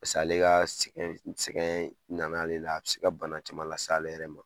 paseke ale ka sɛgɛn sɛgɛn nana ale la a be se ka bana caman la le s'ale ma